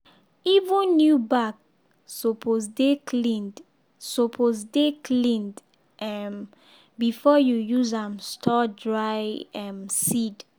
even new bag suppose dey cleaned suppose dey cleaned um before you use am store dry um seed.